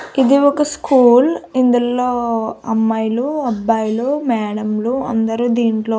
ఇది ఒక స్కూల్ ఇందులో అమ్మాయిలు అబ్బాయిలు మేడం లు అందరూ దీంట్లో --